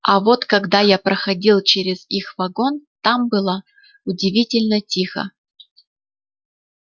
а вот когда я проходил через их вагон там было удивительно тихо